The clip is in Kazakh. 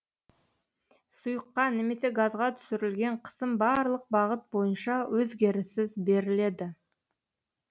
сұйыққа немесе газға түсірілген қысым барлық бағыт бойынша өзгеріссіз беріледі